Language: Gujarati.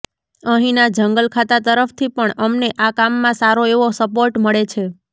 અહીંના જંગલખાતા તરફથી પણ અમને આ કામમાં સારો એવો સપોર્ટ મળે છે